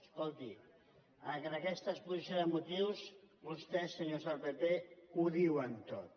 escolti en aquesta exposició de motius vostès senyors del pp ho diuen tot